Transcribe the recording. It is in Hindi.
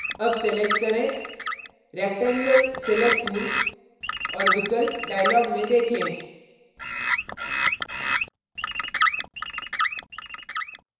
अब select करें rectangle rectangle select tool और विकल्प dialog में देखें